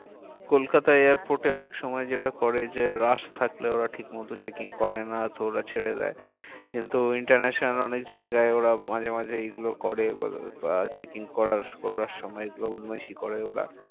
কলকাতার airport এ অনেক সময় যেটা করে যে rush থাকলে ওরা ঠিক মতো checking করে না তো ওরা ছেড়ে দেয়। কিন্তু international অনেক জায়গায় ওরা মাঝে মাঝে এই গুলো করে checking করার, করার সময় এগুলো বদমাইশি করে ওরা